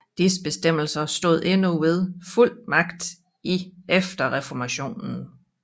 Disse bestemmelser stod endnu ved fuld magt i efter reformationen